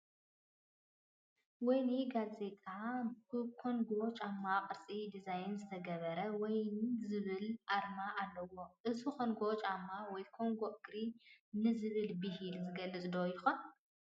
ወይን ጋዜጣ ብኮንጐ ጫማ ቅርፂ ዲዛይን ዝተገብረ ወይን ዝብል ኣርማ ኣለዋ፡፡ እዚ ኮንጐ ጫማ ወይን ኮንጐ እግራ ንዝብል ብሂል ዝገልፅ ዶ ይኾን?